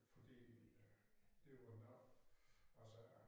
Fordi øh det var nok altså